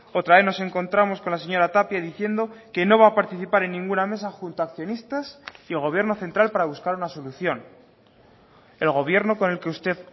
otra vez nos encontramos con la señora tapia diciendo que no va a participar en ninguna mesa junto a accionistas y el gobierno central para buscar una solución el gobierno con el que usted